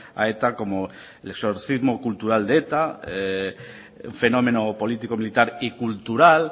a eta como el exorcismo cultura de eta fenómeno político militar y cultural